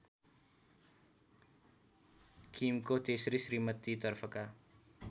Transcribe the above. किमको तेस्री श्रीमतीतर्फका